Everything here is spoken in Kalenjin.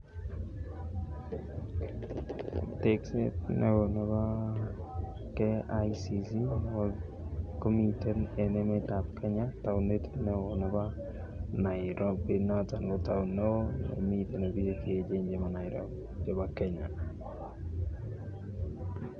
Tekset neoo nebo KICC komiten en emetab Kenya taonit neo nebo Nairobi noton neoo nemiten biik che echen chemii Nairobi chebo Kenya.